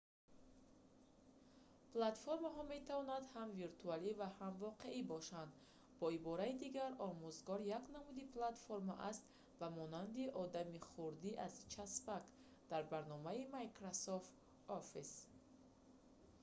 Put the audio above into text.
платформаҳо метавонанд ҳам виртуалӣ ва ҳам воқеӣ бошанд бо ибораи дигар омӯзгор як намуди платформа аст ба монанди одами хурди аз часпак дар барномаи microsoft office